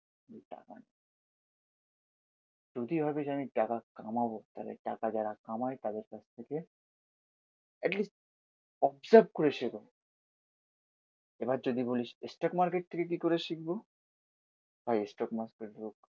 যদি ভাবিস আমি টাকা কামাবো তাহলে টাকা যারা কামাই তাদের কাছ থেকে এটলিস্ট অবসার্ভ করে শেখো। এবার যদি বলিস স্টক মার্কেট থেকে কি করে শিখবো ভাই স্টক মার্কেটের